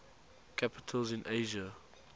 capitals in asia